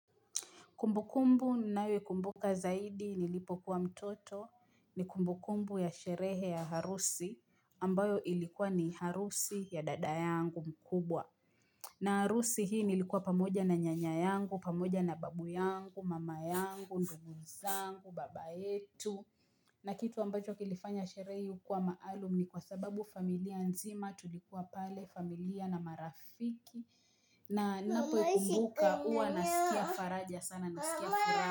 Kumbu kumbu ninayoikumbuka zaidi nilipo kuwa mtoto ni kumbu kumbu ya sherehe ya harusi ambayo ilikuwa ni harusi ya dada yangu mkubwa. Na harusi hii nilikuwa pamoja na nyanya yangu, pamoja na babu yangu, mama yangu, ndugu zangu, baba yetu. Na kitu ambacho kilifanya sherehe hiyo kuwa maalum ni kwa sababu familia nzima tulikuwa pale familia na marafiki. Na ninapo kumbuka huwa nasikia faraja sana nasikia faraja.